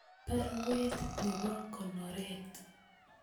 Barwet nebo konoret